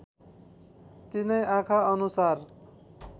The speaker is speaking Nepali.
तिनै आँखा अनुसार